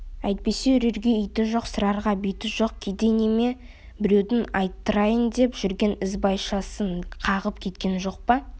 әйтпесе үрерге иті жоқ сығарға биті жоқ кедей неме біреудің айттырайын деп жүрген ізбайшасын қағып кеткен жоқ па